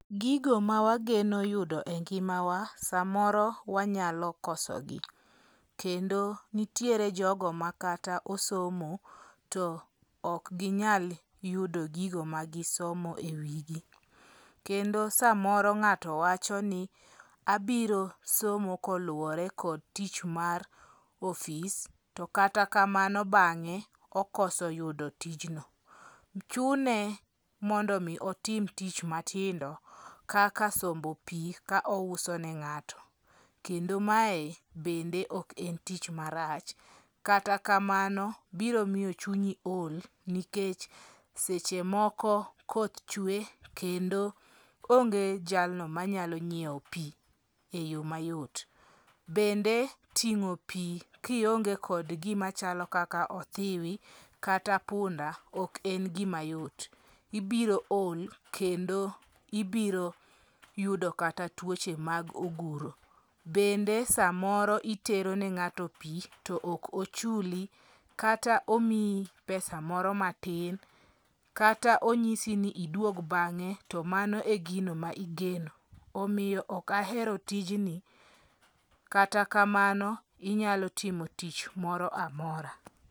Gigo ma wageno yudo e ngima wa, samoro wanyalo kosogi. Kendo nitiere jogo makata osomo to ok ginyal yudo gigo ma gisomo e wigi. Kendo samoro ng'ato wacho ni abiro somo koluwore kod tich mar ofis to kata kamano bang'e okoso yudo tijno. Chune mondo mi otim tich matindo kaka sombo pi ka ouso ne ng'ato. Kendo mae bende ok en tich marach. Kata kamano biro miyo chunyi ol nikech seche moko koth chwe kendo onge jalno manyalo nyiew pi e yo mayot. Bende ting'o pi kionge kod gima chalo kaka othiwi kata punda ok en gima yot. Ibiro ol kendo ibiro yudo kata tuoche mag oguro. Bende samoro itero ne ng'ato pi to ok ochuli. Kat omiyi pesa moro matin. Kata onyisi ni iduog bang'e to mano e gino ma igeno. Omiyo ok ahero tijni. Kata kamano inyalo timo tich moro amora.